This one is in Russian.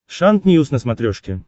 шант ньюс на смотрешке